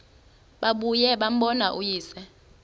babuye bambone uyise